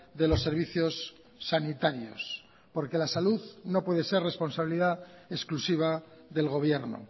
de los servicios sanitarios porque la salud no puede ser responsabilidad exclusiva del gobierno